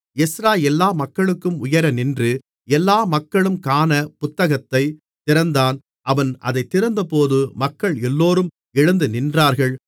Ezra எல்லா மக்களுக்கும் உயர நின்று எல்லா மக்களும் காணப் புத்தகத்தைத் திறந்தான் அவன் அதைத் திறந்தபோது மக்கள் எல்லோரும் எழுந்துநின்றார்கள்